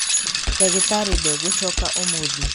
ndagītarī ndegūcoka ūmūthī.